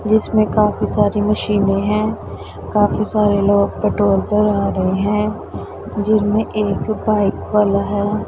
जिसमें काफी सारी मशीने हैं काफी सारे लोग पेट्रोल भरा रहे हैं जिसमें एक बाइक वाला है।